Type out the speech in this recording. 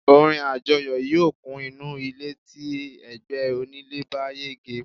orin ajọyọ̀ yíò kun inú ilé ti ẹgbẹ onílé bá yege